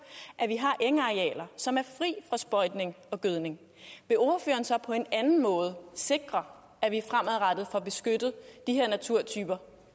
at vi har engarealer som er fri for sprøjtning og gødning vil ordføreren så på en anden måde sikre at vi fremadrettet får beskyttet de her naturtyper